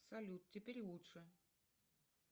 салют теперь лучше